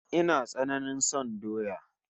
Ina tsananain son doya